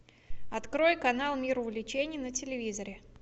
открой канал мир увлечений на телевизоре